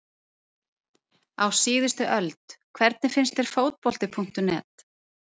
Á síðustu öld Hvernig finnst þér Fótbolti.net?